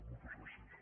moltes gràcies